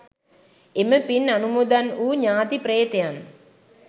එම පින් අනුමෝදන් වූ ඥාති ප්‍රේතයන්